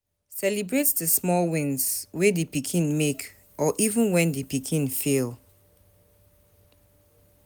Celebrate di small wins wey di pikin make or even when di pikin fail